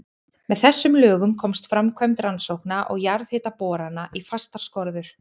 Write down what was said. Með þessum lögum komst framkvæmd rannsókna og jarðhitaborana í fastar skorður.